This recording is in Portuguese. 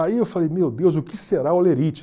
Aí eu falei, meu Deus, o que será olerite?